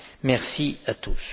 Merci à tous.